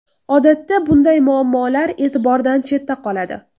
Odatda bunday muammolar e’tibordan chetda qoladi.